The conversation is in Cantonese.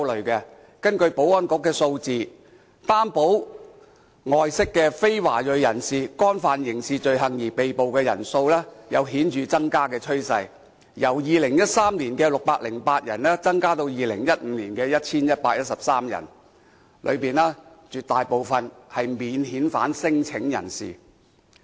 根據保安局數字，獲擔保外釋的非華裔人士，因干犯刑事罪行而被捕的人數有顯著增加的趨勢，由2013年的608人，增加至2015年的 1,113 人，當中絕大部分是免遣返聲請人士。